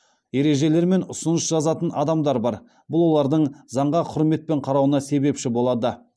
ережелер мен ұсыныс жазатын адамдар бар бұл олардың заңға құрметпен қарауына себепші болады